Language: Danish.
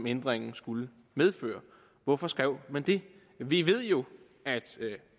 ændringen skulle medføre hvorfor skrev man det vi ved jo at